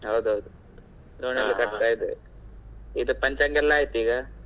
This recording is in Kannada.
ಹೌದೌದು ಪಂಚಾಂಗ ಎಲ್ಲ ಆಯ್ತು ಈಗ.